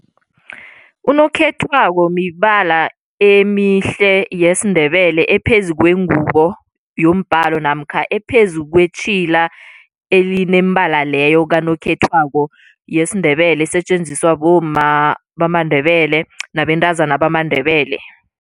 Unokhethwako mibala emihle yesiNdebele ephezu kwengubo yombhalo namkha ephezu kwetjhila elinemibala leyo kanokhethwako yesiNdebele esetjenziswa bomma bamaNdebele nabentazana bamaNdebele.